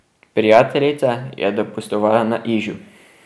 Prijateljica je dopustovala na Ižu.